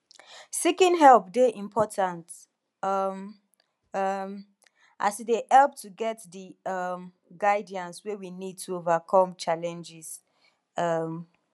seeking help dey important um um as e dey help to get di um guidance wey we need to overcome challenges um